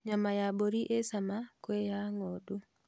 Nyama ya mbũri ĩ cama kwĩ ya ng'ondu